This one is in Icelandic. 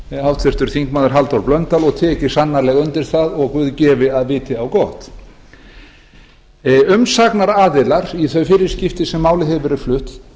háttvirtur þingmaður halldór blöndal og tek ég sannarlega undir það og guð láti gott á vita umsagnaraðilar í hin fyrri skipti sem málið hefur verið flutt